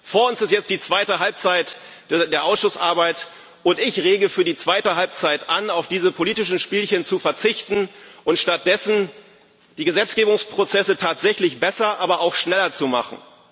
Vor uns liegt jetzt die zweite Halbzeit der Ausschussarbeit, und ich rege an, für die zweite Halbzeit auf diese politischen Spielchen zu verzichten und stattdessen die Gesetzgebungsprozesse tatsächlich besser, aber auch schneller zu machen.